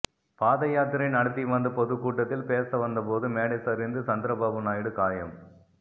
பாதயாத்திரை நடத்தி வந்த பொதுக்கூட்டத்தில் பேச வந்தபோது மேடை சரிந்து சந்திரபாபு நாயுடு காயம்